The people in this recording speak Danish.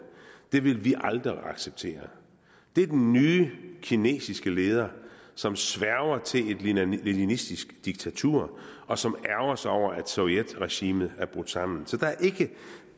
det ville vi aldrig acceptere det er den nye kinesiske leder som sværger til et leninistisk diktatur og som ærgrer sig over at sovjetregimet er brudt sammen så